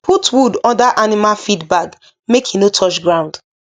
put wood under animal feed bag make e no touch ground